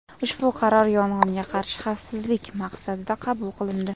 Ushbu qaror yong‘inga qarshi xavfsizlik maqsadida qabul qilindi.